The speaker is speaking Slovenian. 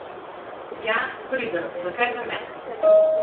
Ja, pridem, zakaj pa ne.